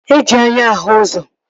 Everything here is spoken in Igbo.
E ji anya ahụ ụzọ